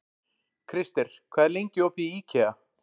Krister, hvað er lengi opið í IKEA?